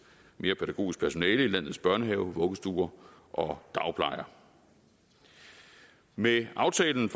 mere pædagogisk personale i landets børnehaver vuggestuer og dagplejer med aftalen